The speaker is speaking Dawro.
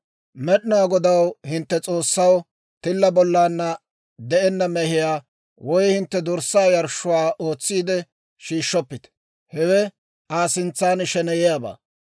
«Med'inaa Godaw, hintte S'oossaw, tilla bollana de'enna mehiyaa, woy hintte dorssaa yarshshuwaa ootsiide shiishshoppite; hewe Aa sintsan sheneyiyaabaa.